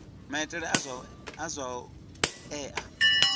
maitele a zwa u ea